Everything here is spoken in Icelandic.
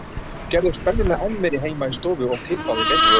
Gerðu spennuna enn meiri heima í stofu og tippaðu í beinni.